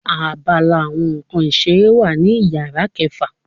Àbàlá awọn nkán ìseré wa ní ìyára kẹfa